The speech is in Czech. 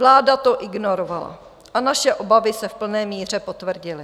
Vláda to ignorovala a naše obavy se v plné míře potvrdily.